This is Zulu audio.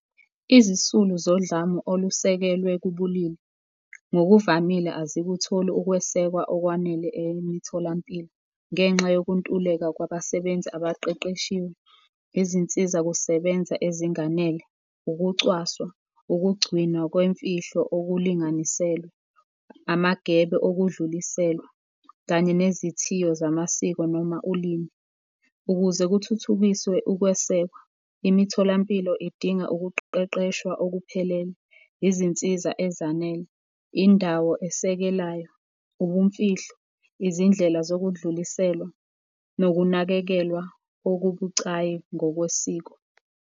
Izisulu zodlame olusekelwe kubulili, ngokuvamile azikutholi ukwesekwa okwanele emitholampilo ngenxa yokuntuleka kwabasebenzi abaqeqeshiwe, izinsiza kusebenza ezinganele, ukucwaswa, ukugcinwa kwemfihlo okulinganiselwe, amagebe okudluliselwa kanye nezithiyo zamasiko noma ulimi. Ukuze kuthuthukiswe ukwesekwa, imitholampilo idinga ukuqeqeshwa okuphelele, izinsiza ezanele, indawo esekelayo, ubumfihlo, izindlela zokudluliselwa nokunakekelwa okubucayi ngokwesiko.